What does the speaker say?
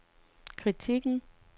kritikken